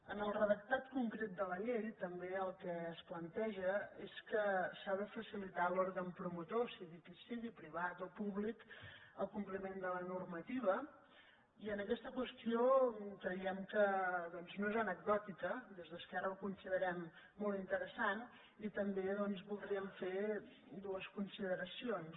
en el redactat concret de la llei també el que es planteja és que s’ha de facilitar a l’òrgan promotor sigui qui sigui privat o públic el compliment de la normativa i en aquesta qüestió creiem que no és anecdòtica des d’esquerra ho considerem molt interessant i també doncs voldríem fer dues consideracions